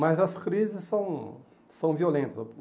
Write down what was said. Mas as crises são são violentas.